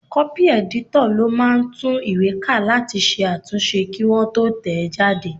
Kọ́pì ẹ̀dítọ̀ ló máà ń tún ìwé ká láti ṣe àtúnṣe kí wọ́n tó tẹ̀ ẹ́ jáde